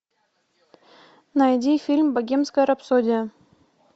найди фильм богемская рапсодия